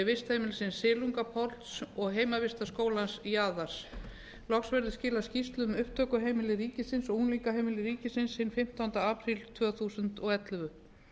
vistheimilisins silungapolls og heimavistarskólans jaðars loks verður skilað skýrslu um upptökuheimili ríkisins og unglingaheimili ríkisins hinn fimmtánda apríl tvö þúsund og ellefu